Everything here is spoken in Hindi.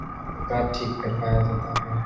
यहाँ पे कार ठीक करवाया जाता है।